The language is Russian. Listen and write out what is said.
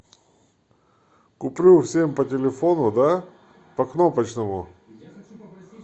куплю всем по телефону да по кнопочному